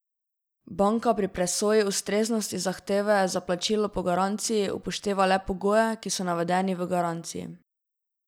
Banka pri presoji ustreznosti zahteve za plačilo po garanciji upošteva le pogoje, ki so navedeni v garanciji.